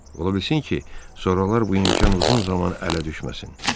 Ola bilsin ki, sonralar bu imkan uzun zaman ələ düşməsin.